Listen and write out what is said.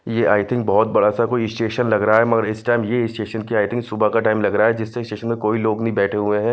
ये I think बहोत बड़ासा कोई स्टेशन लग रहा है मगर इस टाइम येई स्टेशन की आई थिंक सुबह का टाइम लग रहा है जिससे स्टेशन में कोई लोग नही बैठे हुएं हैं।